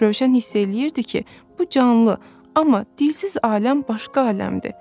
Rövşən hiss eləyirdi ki, bu canlı, amma dilsiz aləm başqa aləmdir.